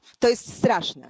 To jest straszne.